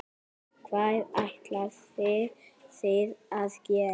Hvað ætlið þið að gera?